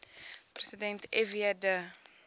president fw de